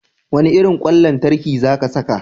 Wane irin kwan lantarki za ka saka?